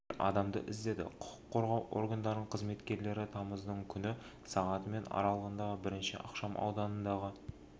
ер адамды іздеді құқық қорғау органдарының қызметкерлері тамыздың күні сағат мен аралығында бірінші ықшам ауданындағы